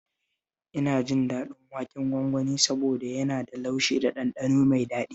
Ina jin daɗin waken gwangwani saboda yana da laushi da ɗanɗano mai daɗi